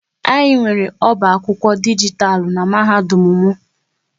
Anyị nwere oba akwụkwọ dijitalụ n'mahadum m